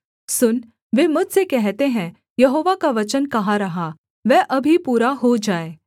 सुन वे मुझसे कहते हैं यहोवा का वचन कहाँ रहा वह अभी पूरा हो जाए